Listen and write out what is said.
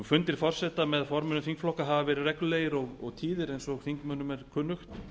fundir forseta með formönnum þingflokka hafa verið reglulegir og tíðir eins og þingmönnum er kunnugt